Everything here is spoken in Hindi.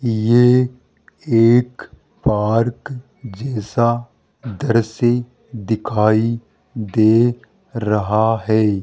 ये एक पार्क जैसा दृश्य दिखाई दे रहा है।